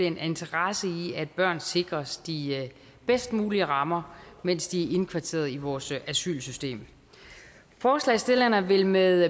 en interesse i at børn sikres de bedst mulige rammer mens de er indkvarteret i vores asylsystem forslagsstillerne vil med